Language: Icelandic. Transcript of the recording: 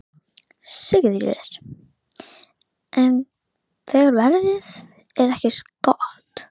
Sigríður: En þegar veðrið er ekki gott?